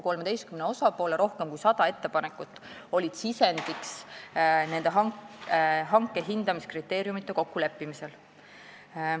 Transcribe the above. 13 osapoole rohkem kui 100 ettepanekut oli sisendiks hanke hindamiskriteeriumide kokkuleppimisel.